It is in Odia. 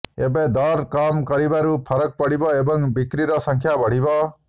ଏବେ ଦର କମ କରିବାରୁ ଫରକ ପଡ଼ିବ ଏବଂ ବିକ୍ରୀର ସଂଖ୍ୟା ବଢ଼ିବ